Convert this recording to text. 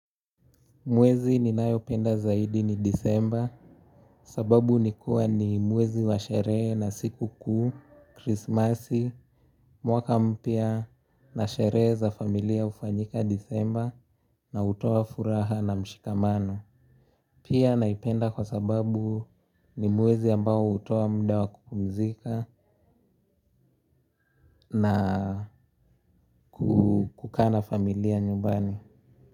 Mwezi ninayopenda zaidi ni Desemba. Sababu ni kuwa ni mwezi wa sherehe na sikukuu, Krismasi, mwaka mpya na sherehe za familia hufanyika Desemba na kutoa furaha na mshikamano. Sababu ni kuwa ni mwezi wa sherehe na sikukuu, Krismasi, Mwaka Mpya na sherehe za familia hufanyika Desemba na hutoa furaha na mshikamano. Kukaa na familia nyumbani.